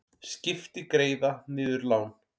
Skipti greiða niður lán